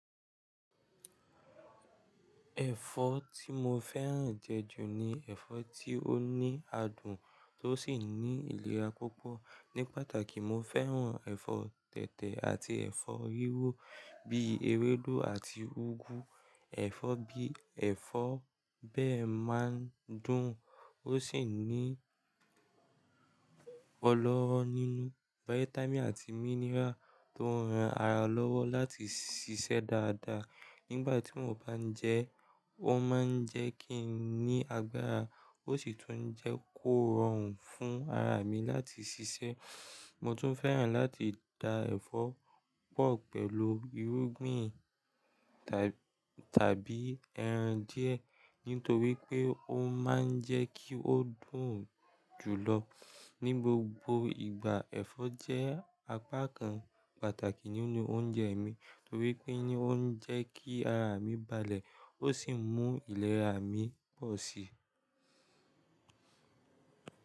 Ẹ̀fọ́ tí mo fẹ́ràn jẹ jù ni ẹ̀fọ́ tí ó ní adùn tó sì ní ìlera púpọ̀. Ní pàtàkì, mo fẹ́ràn ẹ̀fọ́ tẹ̀tẹ̀ àti ẹ̀fọ́ riro bí i ewédú àti úgú. Ẹ̀fọ́ bíi ẹ̀fọ́ bẹ́ẹ̀ máa ń dùn ó sì ní ọlọ́rọ́ nínú, vitamí àti mineral tó ń ran ara lọ́wọ́ láti ṣiṣẹ́ dáadáa. Nígbà tí mo bá ń jẹ ẹ́, ó máa ń jẹ́ kí n ní agbára ó sì tún jẹ́ kó rọrùn fún ara mi láti ṣiṣẹ́. Mo tún fẹ́ràn láti da ẹ̀fọ́ pọ̀ pẹ̀lú ìrúgbìn tàbí ẹran díẹ̀ nítorí pé ó máa ń jẹ́ kí ó dùn jù lọ. Ni gbogbo ìgbà, ẹ̀fọ́ jẹ́ apá kan pàtàkì nínú oúnjẹ mi nítorí pé ní ó ń jẹ́ kí ara mi balẹ̀ ó sì mú ìlera mi pọ̀ sí i.